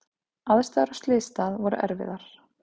Aðstæður á slysstað voru erfiðar.